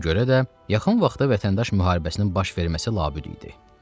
Buna görə də yaxın vaxtda vətəndaş müharibəsinin baş verməsi labüd idi.